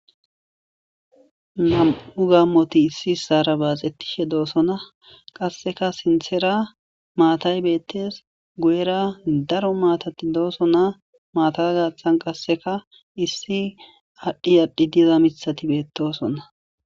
Nam'u gammoti issi saara baaxettishe doosonna qasseka sinthera maatay beettes guyera daro maatati dooso naa maata gaththan qasseka issi aadhi adhi diza mithati beettosonna.